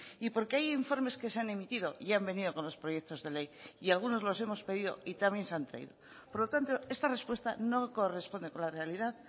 y porque hay informes que se han emitido y han venido con los proyectos de ley y algunos los hemos pedido y también se han traído por lo tanto esta respuesta no corresponde con la realidad